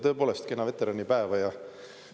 Tõepoolest, kena veteranipäeva!